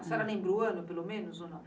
A senhora lembra o ano, pelo menos, ou não?